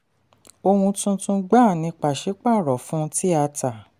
ọhún tuntun gbà ní pàṣípààrọ̀ fún ti a tà.